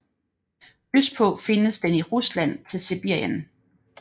Østpå findes den i Rusland til Sibirien